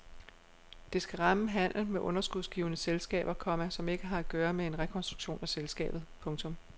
Det skal ramme handel med underskudsgivende selskaber, komma som ikke har at gøre med en rekonstruktion af selskabet. punktum